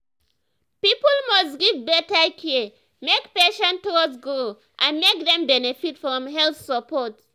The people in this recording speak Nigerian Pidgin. people must give better care make patient trust grow and make dem benefit from health support.